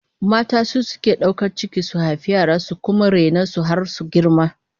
Mata su suke daukar ciki su haifi yara, su kuma raine su har su girma